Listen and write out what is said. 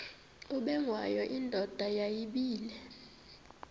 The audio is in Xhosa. ubengwayo indoda yayibile